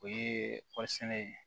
O ye kɔɔri sɛnɛ